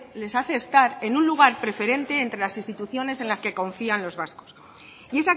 les hace estar en un lugar preferente entre las instituciones en las que confían los vascos y